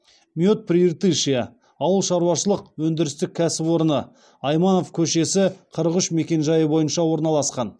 мед прииртышья ауыл шаруашылық өндірістік кәсіпорыны айманов көшесі қырық үш мекенжайы бойынша орналасқан